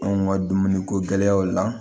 Anw ka dumuniko gɛlɛyaw la